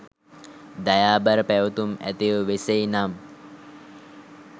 දයාබර පැවතුම් ඇතිව වෙසෙයි නම්